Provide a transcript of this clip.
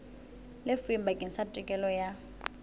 lefuweng bakeng sa tokelo ya